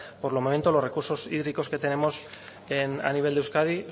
por el momento los recursos hídricos que tenemos a nivel de euskadi